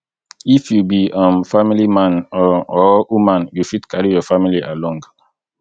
if you be um family man um or woman you fit carry your family along